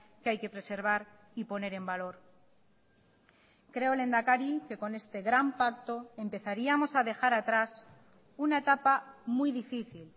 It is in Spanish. que hay que preservar y poner en valor creo lehendakari que con este gran pacto empezaríamos a dejar atrás una etapa muy difícil